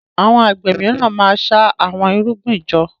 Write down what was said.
Àwọn àgbẹ míràn má ṣa Àwọn irúgbìn jọ.